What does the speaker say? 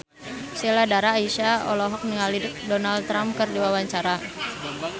Sheila Dara Aisha olohok ningali Donald Trump keur diwawancara